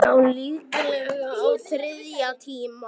Já, líklega á þriðja tíma.